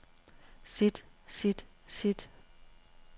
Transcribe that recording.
sit sit sit